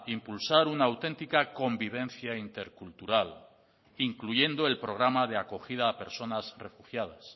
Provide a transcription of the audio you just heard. impulsar una autentica convivencia intercultural incluyendo el programa de acogida a personas refugiadas